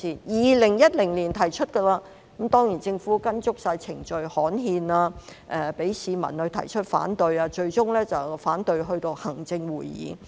2010年已經提出，當然政府依足程序：刊憲、讓市民提出反對，最終反對至行政會議。